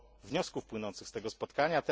wniosków płynących z tego spotkania.